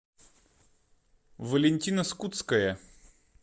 валентина скутская